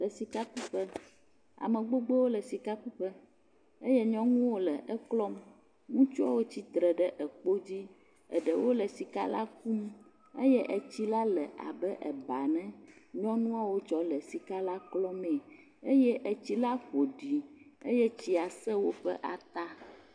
Le sika ku ƒe. ame gbogbo wo le sia ku ƒe eye nyɔnu aɖe le eklɔm. Ŋutsuwo tsi tre ɖe ekpo dzi. Eɖewo le sika la kum eye etsi la le abe eba ene eye nyɔnuawo kɔ le sika la klɔm me eye etsi la ƒoɖi eye etsia se wo ƒe ata.